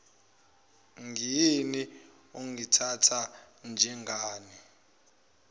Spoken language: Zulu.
ngiyini ungithatha njengani